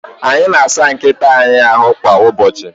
Anyị na-asa nkịta anyị ahu kwa ụbọchị